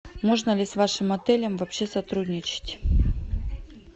можно ли с вашим отелем вообще сотрудничать